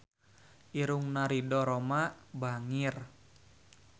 Irungna Ridho Roma bangir